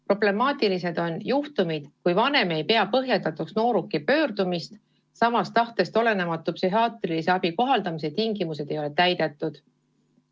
Problemaatilised on juhtumid, kui vanem ei pea nooruki pöördumist põhjendatuks ja tahtest olenematu psühhiaatrilise abi kohaldamise tingimused ei ole täidetud.